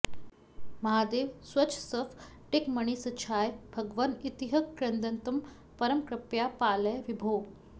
महादेव स्वच्छस्फटिकमणिसच्छाय भगवन् इतीह क्रन्दन्तं परमकृपया पालय विभो